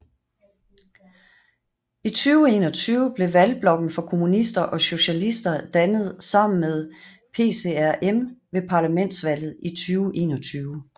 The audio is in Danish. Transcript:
I 2021 blev Valgblokken for Kommunister og Socialister dannet sammen med PCRM ved parlamentsvalget i 2021